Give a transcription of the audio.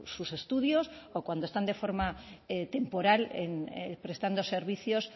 sus estudios o cuando están de forma temporal prestando servicios